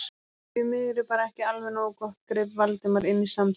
Því miður er bara ekki alveg nógu gott- greip Valdimar inn í samtalið.